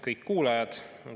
Kõik kuulajad!